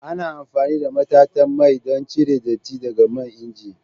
Ana amfani da matatan mai don cire datti daga man inji.